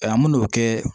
Ayiwa mun n'o bɛ kɛ